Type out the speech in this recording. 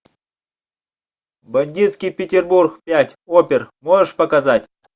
бандитский петербург пять опер можешь показать